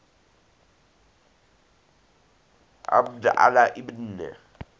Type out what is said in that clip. abd allah ibn